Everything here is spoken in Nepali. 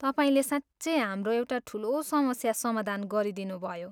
तपाईँले साँच्चै हाम्रो एउटा ठुलो समस्या समाधान गरिदिनुभयो।